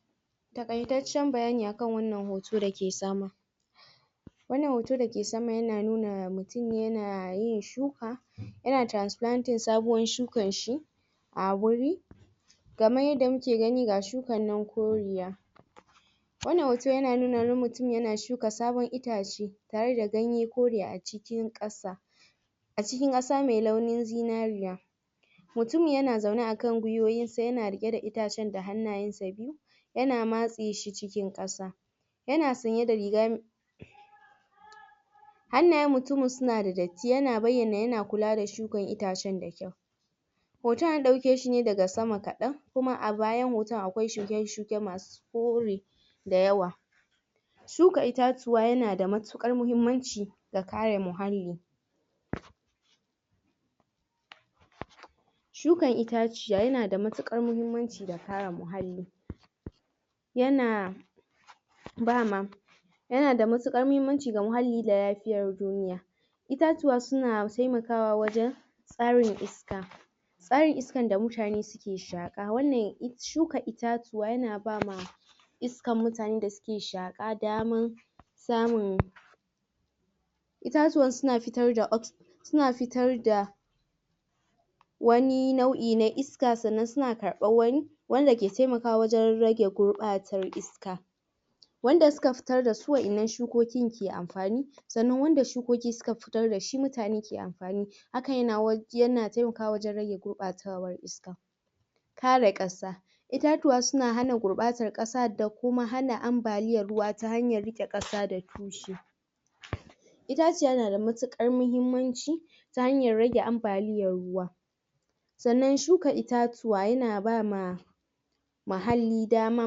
? Taƙaitaccen bayani akan wannan hotan da ke sama.? Wannan hoto da ke sama yana nuna mutum ya na yin shuka,? ya na transplanting sabuwar shukar shi,? a wuri.? Kamar yadda mu ke gani ga shukar nan koriya.? Wannan hutan ya na nuna wani mutum yana shuka sabun itace, tare da ganye kore a cikin ƙasa,? a cikin ƙasa mai launin zinariya.? Mutumin yana zaune a kan guiwowinsa yana riƙe da itacen da hannun sa biyu,? ya na matseshi cikin ƙasa.? Ya na sanye da riga.? Hannayen mutumin sunada datti ya na bayyana ya na kula da shukar itacen da kyau.? Hotan an dauke shi ne daga sama kadan.ɓ Kuma a bayan hotan akwai shuke_shuke masu kore da yawa.? Shuka itatuwa ya na da matuƙar mahimmanci ga kare muhalli.? Shuka itaciya yanada matuƙar mahimmanci da kare muhalli.? Ya na,? ba ma,? ya na da matuƙar mahimmanci ga muhalli da lafiyar duniya. Itatuwa suna taiwakawa wajan,? tsarin iska.? Tsarin iskan da mutane suke shaƙa, wannan shuka itatuwa ya na ba ma,? iskan mutane da suke shaƙa daman,? samun.? Itatuwan suna fitar da,? suna fitar da,? wani nau'i na iska sannan suna karɓar wani, wanda ke taimakawa wajan rage gurɓar iska.? Wanda suka fitar da su waƴannan shukokin ke amfani. Sannan wanda shukuki suka fitar da shi mutane ke amfani. Hakan ya na taimakawa wajan rage gurbatar iska.? Kare ƙasa. Itatuwa suna hana gurɓatar ƙasa, da kuma hana ambaliyar ruwa ta hamyar rike ƙasa da tushe.? Itaciya na da matuƙar mahimmanci,? ta hanyar rage ambaliyar ruwa.? Sannan shuka itatuwa ya na ba ma,? muhalli dama,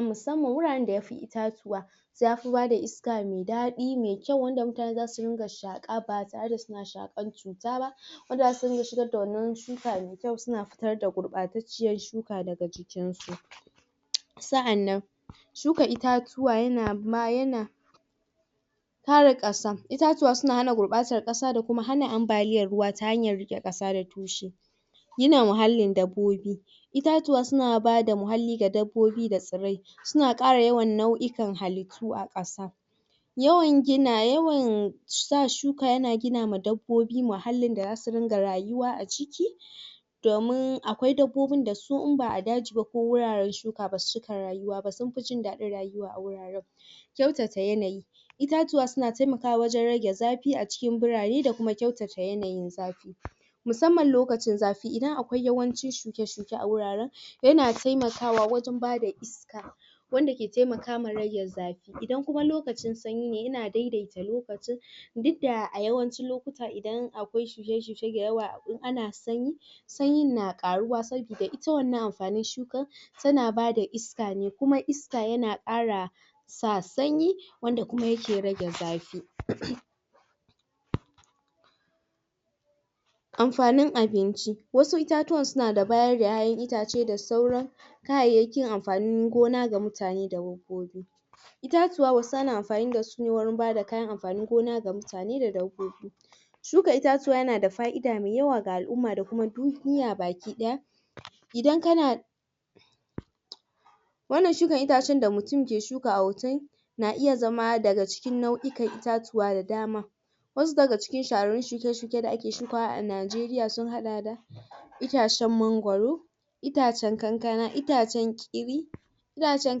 musamman wuraren da yafi itatuwa ya fi bada iska mai daɗi mai kyau wanda mutane zasu dinga shaƙa ba tare da suna shaƙan cuta ba.? Wanda za su rinƙa shigar da wannan shuka mai kyau suna fitar da gurɓatacciyar iska daga cikinsu.ɓ? Sa'annan,? shuka itatuwa yana,? kare ƙasa. Itatuwa suna hana gurɓatar ƙasa da kuma hana ambaliyar ruwa ta hanyar riƙe ƙasa da tushe.? Yana muhallin dabbobi. Itatuwa suna bada muhalli ga dabbobi da tsirrai. Suna ƙara nau'okan halittu ga ƙasa.? Yawan gina, yawan sa shuka yana gina ma dabbo muhallin da zasu dinga rayuwa a ciki.? Dumin akwai dabbobin da su in ba a daji ba ku wuraren shuka ba basu cika rayuwa ba sunfi jin daɗin rayuwa a wurin.? Kyautata yanayi.? Itatuwa suna taimakawa wajan rage zafi a cikin burane da kuma kyautata yanayin zafi.? Musamman lokacin zafi idan akwai yawancin shuke_shuke a wuraren,? ya na taimaka wa wajan bada iska wanda ke taimakawa rage zafi, idan kuma lukacin sanyi ne yana daidai ta lokacin. Duk da a yawancin lokota idan akwai shuke-shuke da yawa in ana sanyi,? sanyin na ƙaruwa sabuda ita wannan anfanin shukan, ta na bada iska ne kuma iska yana ƙara sa sanyi, wanda kuma yake rage zafi.? Amfanin abinci. Wasu itatuwan suna bayar da ƴaƴan itace da sauran,? kayayyakin amfanin gona ga mutane da dabbobi.? Itatuwa wasu ana amfani dasu ne wurin bada kayan amfanin gona ga mutane da dabbobi.? Shuka itatuwa yanada fa'ida mai yawa ga al'umma da kuma duniya daya.? Idan kana.? Wannan shuka atacen da mutun ke shukawa a hotan,? na iya zama daga cikin nau'ukan itatuwa da dama.? Wasu daga cikin shahararrun shuke-shuke da ake shukawa a Nigeria sun haɗa da,? itacen mangoro,? itacen kankana, itacen ƙiri,? itacen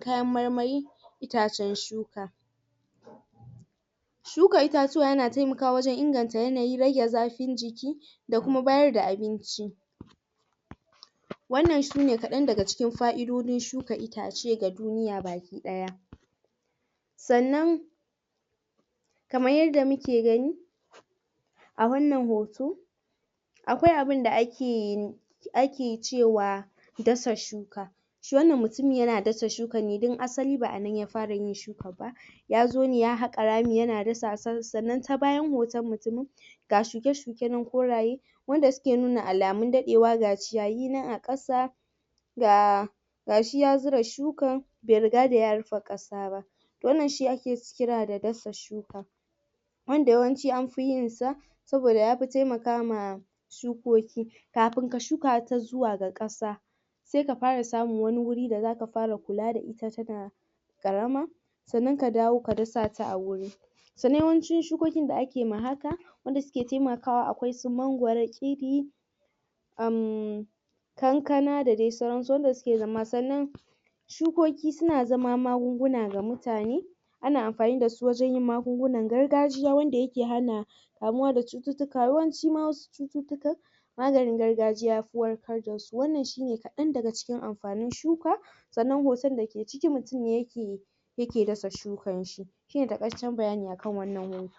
kayan marmari? itacen shuka.? Shuka itatuwa ya na taimakawa wajan inganta yanayin rage zafin jiki,? da kuma bayar da abinci.? Wannan shine kaɗan daga cikin fa'idodin shuka itace ga duniya baki ɗaya.? Sannan,? kamar yadda muke gani,? a wannan hoto,? akwai abunda ake yi,? ake cewa dasa shuka.? Shi wannan mutumin ya na dasa shukan ne dan asali ba anan ya fara yin shukan ba.? Ya zo ne ya haƙa rami yana dasa wa. Sannan ta bayan hotan mutumin,? ga shuke-shuke nan koraye,n? wanda suke nuna alamun daɗewa. Ga ciyayi nan a ƙasa.? Ga,? gashi ya zura shukan bai riga da ya rufe ƙasa ba.? Wannan shi ake kira da dasa shuka.? wanda yawanci an fi yinsa,? saboda ya fi taimaka ma,? shukoki.? Kafin ka shuka ta zuwa ga ƙasa,? sai ka fara samun wani wuri da zaka fara kula da ita tana,? ƙarama,? sannan ka dawo ka dasa ta a wuri.? Sannan yawancin shukokin da ake ma haka,? wanda suke taimakawa akwai su mangoro, ƙiri,??? kankana da dai sauran su. Wanda suke zama. Sannan,? shukuki suna zama magunguna ga mutane.? Ana amfani da su wajan yin magungunn gargajiya. wanda ya ke hana.? kamuwa da cututtuka. Yawanci ma wasu cututtukan, maganin gargajiya yafi warkar dasu. Wannan shine kaɗan daga amfanin shuka.? Sannan hutan da ke ciki mutum ne yake, yake dasa shukar shi. Shine taƙaitaccen bayani akan wannan hotan.